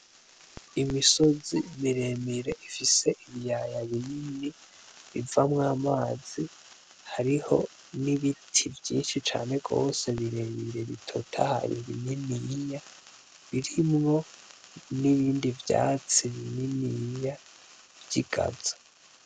Imisozi miremire ifise ibiyaya binini bivamw'amazi hariho n'ibiti vyinshi cane gose birebire bitotahaye bininiya birimwo n'ibindi vyatsi bininiya vy'igazo.